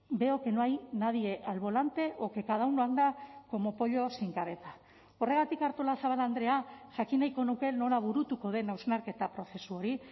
veo que no hay nadie al volante o que cada uno anda como pollo sin cabeza horregatik artolazabal andrea jakin nahiko nuke nola burutuko den hausnarketa prozesu hori